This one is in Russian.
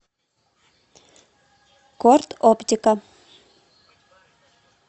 корд оптика